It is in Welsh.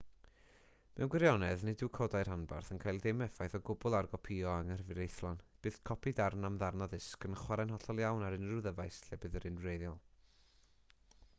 mewn gwirionedd nid yw codau rhanbarth yn cael dim effaith o gwbl ar gopïo anghyfreithlon bydd copi darn am ddarn o ddisg yn chwarae'n hollol iawn ar unrhyw ddyfais lle bydd yr un wreiddiol